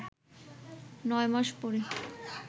নয় মাস পরে